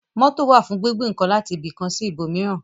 Mótò wà fún gbígbé ǹkan láti ibi kan sí ibò míràn